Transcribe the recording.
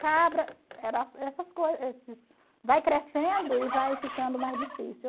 Cabra, era vai crescendo e vai ficando mais difícil.